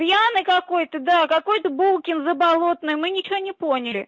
пьяный какой-то да какой-то булкин заболотный мы ничего не поняли